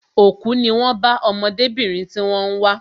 Òkú ní wón bá ọmọdébìnrin tí wón ń wá